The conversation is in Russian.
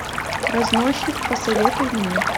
разносчик посоветуй мне